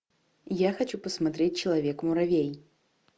я хочу посмотреть человек муравей